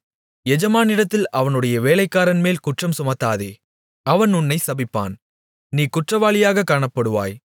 எஜமானிடத்தில் அவனுடைய வேலைக்காரன்மேல் குற்றம் சுமத்தாதே அவன் உன்னைச் சபிப்பான் நீ குற்றவாளியாகக் காணப்படுவாய்